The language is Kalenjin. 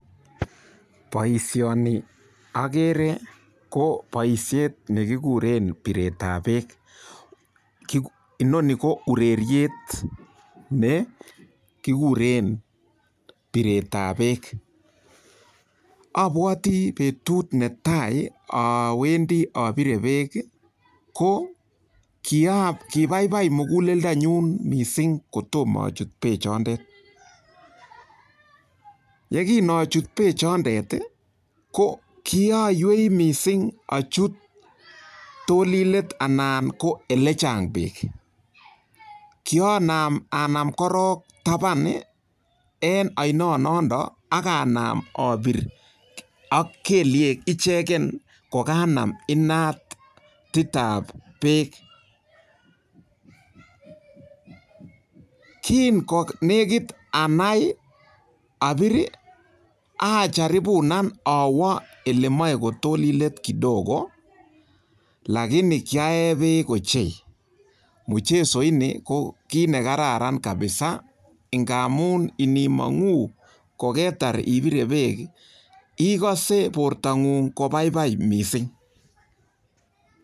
Boishoni agere ko boishet ne kiguren piretab beek. Inoni ko ureriet kigure piretab beek. Abwote petut netai awendi apire beek, ko kipaipai muguleldonyu mising kotom achut beechondet. Yekinachut bechondet ko kianywei mising achut tolinget anan ko olechang beek. Kianam anaam korok tapan eng oinonodok ak anam apir ak keliek icheken kokanam inatitab beek. kin'gonegit anai apir ajaripunen awa oletolilet kidogo lakini kiae beek ochei. Mchezoini ko kit nekararan kabisa ngamun ngimong'u koketar ipire beek ikose bortang'ung kobaibai mising